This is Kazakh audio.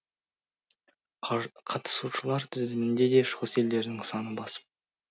қатысушылар тізімінде де шығыс елдерінің саны басым